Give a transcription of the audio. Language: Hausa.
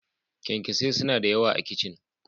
Kyankyasai suna da yawa a kicin.